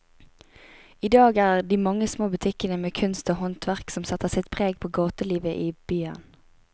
I dag er det de mange små butikkene med kunst og håndverk som setter sitt preg på gatelivet i byen.